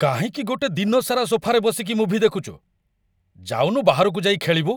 କାହିଁକି ଗୋଟେ ଦିନସାରା ସୋଫାରେ ବସିକି ମୁଭି ଦେଖୁଚୁ? ଯାଉନୁ ବାହାରକୁ ଯାଇ ଖେଳିବୁ!